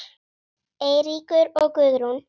Eiríkur og Guðrún.